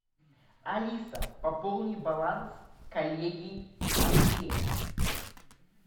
алиса пополни баланс коллеги андрея